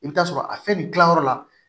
I bɛ t'a sɔrɔ a fɛn nin dilanyɔrɔ la